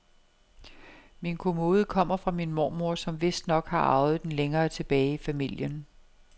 Min kommode kommer fra min mormor, som vistnok har arvet den længere tilbage i familien.